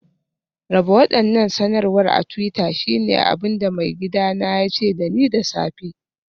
Raba waɗannan sanarwar a twitter shine abin da maigidana ya ce da ni da safe